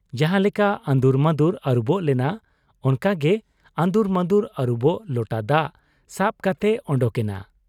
ᱡᱟᱦᱟᱸ ᱞᱮᱠᱟ ᱟᱺᱫᱩᱨᱢᱟᱺᱫᱩᱨ ᱟᱹᱨᱩᱵᱚᱜ ᱞᱚᱱᱟ ᱚᱱᱠᱟ ᱜᱮ ᱟᱺᱫᱩᱨ ᱢᱟᱺᱫᱩᱨ ᱟᱹᱨᱩᱵᱚᱜ ᱞᱚᱴᱟ ᱫᱟᱜ ᱥᱟᱵ ᱠᱟᱛᱮᱭ ᱚᱰᱚᱠ ᱮᱱᱟ ᱾